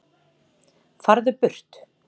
FARÐU BURT